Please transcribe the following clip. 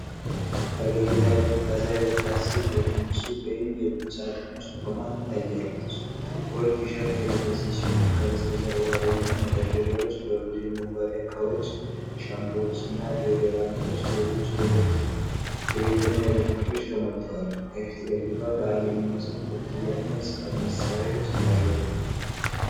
ፈገግታ የምታሳይ ወጣት ሴት በትንሽ ሱቅ ወይም የቁም ሣጥን ውስጥ ቆማ ትታያለች። ጥቁር ቲሸርት የለበሰች ሲሆን፣ ከበስተጀርባዋ ደግሞ መደርደሪያዎች በብዙ የመዋቢያ ዕቃዎች፣ ሻምፖዎች፣ ዲኦድራንቶችና ሌሎች የቤትና የውበት ምርቶች ተሞልተዋል። ከፊት ለፊቷ በዓል የሚመስል ኮፍያ እና የጽሕፈት መሣሪያዎች ይታያሉ።